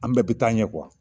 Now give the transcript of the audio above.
An bɛɛ bi taa ɲɛ